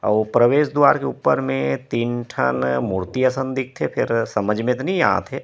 आऊ प्रवेश द्वार के ऊपर में तीन ठन मूर्ति असन दिखथे फिर समझ म तो नई आत हे।